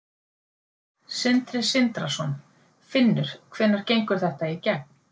Sindri Sindrason: Finnur hvenær gengur þetta í gegn?